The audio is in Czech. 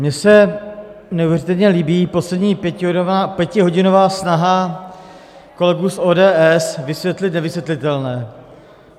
Mně se neuvěřitelně líbí poslední pětihodinová snaha kolegů z ODS vysvětlit nevysvětlitelné.